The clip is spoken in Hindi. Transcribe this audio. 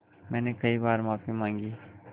मैंने कई बार माफ़ी माँगी